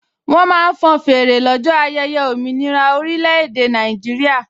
Wọ́n máa ń fọn fèrè lọ́jọ́ ayẹyẹ òmìnira orílẹ̀-èdè Nàìjíríà